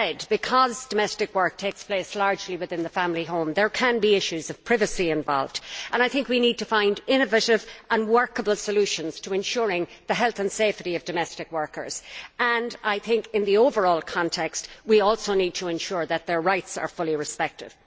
Because domestic work takes place largely within the family home, there can be issues of privacy involved. We need to find innovative and workable solutions to ensuring the health and safety of domestic workers and, in the overall context, to ensure that their rights are fully respected.